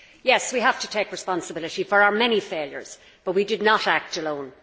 Yes, we have to take responsibility for our many failures, but we did not act alone.